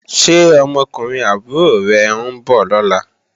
Ṣé ọmọkùnrin àbúrò rẹ̀ ń bọ̀ lọ́la?